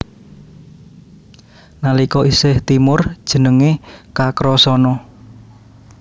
Nalika isih timur jenengé Kakrasana